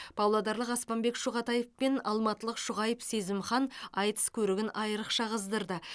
павлодарлық аспанбек шұғатаев пен алматылық шұғайып сезімхан айтыс көрігін айрықша қыздырды